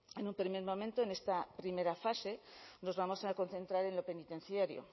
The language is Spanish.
en un primer momento en esta primera fase nos vamos a concentrar en lo penitenciario